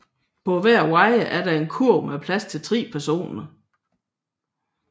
På hver wire er der en kurv med plads til tre personer